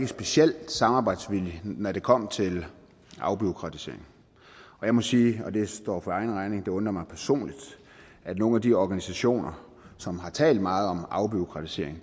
specielt samarbejdsvillig når det kom til afbureaukratisering jeg må sige og det står for egen regning at det undrer mig personligt at nogle af de organisationer som har talt meget om afbureaukratisering